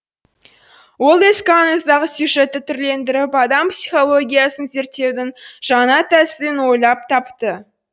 ол ескі аңыздағы сюжетті түрлендіріп адам психологиясын зерттеудің жаңа тәсілін ойлап тапты